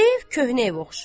Ev köhnə ev oxşayır.